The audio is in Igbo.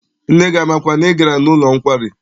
Nne gị amakwa na ị gara n'ụlọ nkwari?